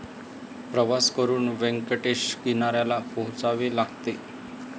प्रवास करून व्यंकटेश किनाऱ्याला पोचावे लागते.